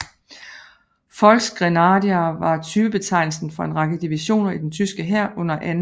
Volksgrenadier var typebetegnelsen for en række divisioner i den tyske hær under 2